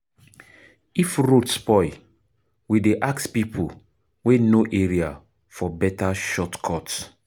If road spoil, we dey ask pipo wey know area for beta shortcut.